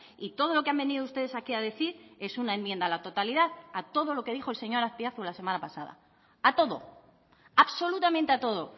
y todo lo que han venido ustedes aquí a decir es una enmienda a la totalidad a todo lo que dijo el señor azpiazu la semana pasada a todo absolutamente a todo